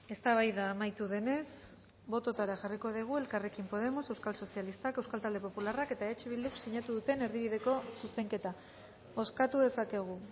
eztabaida amaitu denez bototara jarriko dugu elkarrekin podemos euskal sozialistak euskal talde popularrak eta eh bilduk sinatu duten erdibideko zuzenketa bozkatu dezakegu